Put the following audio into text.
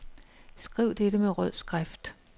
Skriv dette med rød skrift.